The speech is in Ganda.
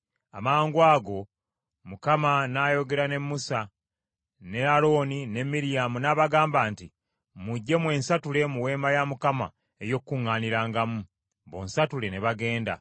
Amangwago Mukama n’ayogera ne Musa, ne Alooni ne Miryamu n’abagamba nti, “Mujje, mwensatule, mu Weema ey’Okukuŋŋaanirangamu.” Bonsatule ne bagenda.